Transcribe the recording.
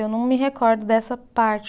Eu não me recordo dessa parte.